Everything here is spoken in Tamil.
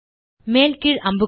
மேல் கீழ் அம்புக்குறிகள்